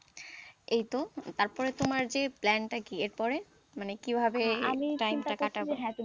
এইতো তারপরে তোমার যে plan টা কি, এর পরে মানে কিভাবে time টা কাটাবে,